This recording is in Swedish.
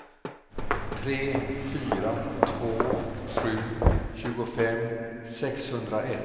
tre fyra två sju tjugofem sexhundraett